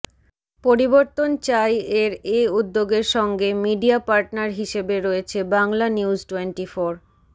পরিবর্তন চাই এর এ উদ্যোগের সঙ্গে মিডিয়া পার্টনার হিসেবে রয়েছে বাংলানিউজটোয়েন্টিফোর